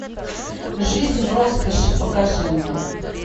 жизнь в роскоши покажи мне